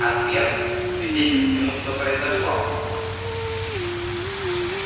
а твер свидетель всему что произошло